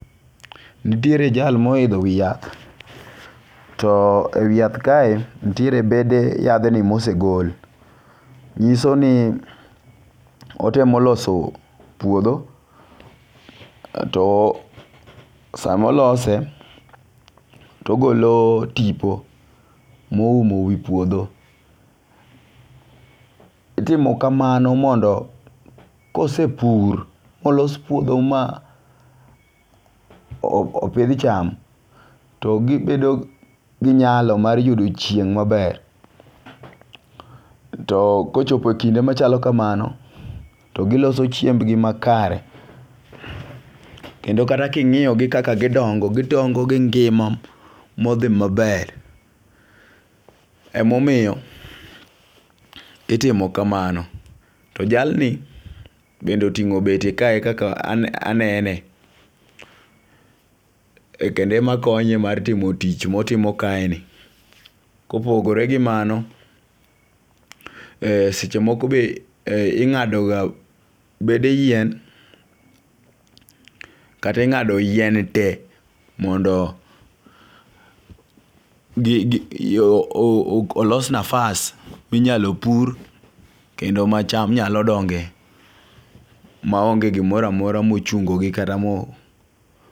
Nitiere jal ma oitho wi yath, to e wi yath kae, nitiere bede yathni mosegol, nyisoni otemo loso puotho, to sama olose togolo tipo moumo wi puotho, itimi kamano mondo kosepur ma olos puotho ma opith cham to gibedo gi nyalo mar yudo chieng' maber, too kochopo kinde machalo kamano, to giloso chiembgi makare, kendo kata kingi'yogi kaka gidongo' gidongo' gi ngi'ma ma othi maber, emomiyo itimo kamano, to jalni bende otingo' beti kae e kaka anene, kendo emakonye mar timo tich motimo kae ni, kopogore gi mano, e sechemoko be inga'doga bede yien kata inga'do yien tee mondo yoo olos nafas minyalo pur kendo ma cham nyalo donge' maonge' gimoro amora ma ochungogi kata mo